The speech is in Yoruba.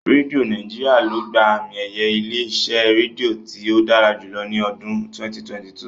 Rédíó Nàíjirià ló gba àmi-ẹ̀yẹ ilé-iṣẹ́ rédíò tí ó dára jùlọ ní ọdún 2022.